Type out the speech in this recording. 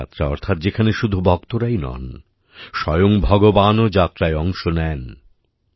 দেবযাত্রা অর্থাৎ যেখানে শুধু ভক্তরাই নন স্বয়ং ভগবানও যাত্রায় অংশ নেন